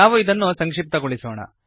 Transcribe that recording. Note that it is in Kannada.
ನಾವು ಇದನ್ನು ಸಂಕ್ಶಿಪ್ತಗೊಳಿಸೋಣ